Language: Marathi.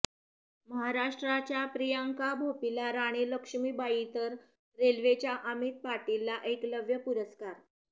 महाराष्ट्राच्या प्रियांका भोपीला राणी लक्ष्मीबाई तर रेल्वेच्या अमित पाटीलला एकलव्य पुरस्कार